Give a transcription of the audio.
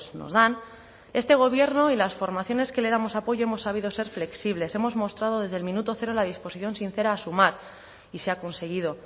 nos dan este gobierno y las formaciones que le damos apoyo hemos sabido ser flexibles hemos mostrado desde el minuto cero la disposición sincera a sumar y se ha conseguido